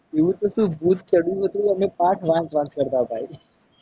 એવું તો શું ભૂત ચડ્યું એટલે અમે પાઠ વાંચ કરતા હતા અમને